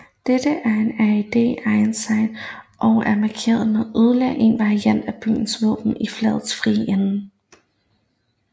Dette er en Red Ensign som er mærket med yderligere en variant af byens våben i flagets frie ende